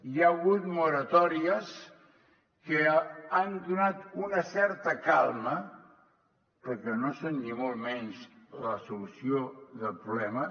hi ha hagut moratòries que han donat una certa calma però no són ni molt menys la solució del problema